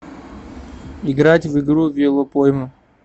играть в игру велопойма